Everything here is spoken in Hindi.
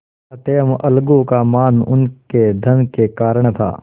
अतएव अलगू का मान उनके धन के कारण था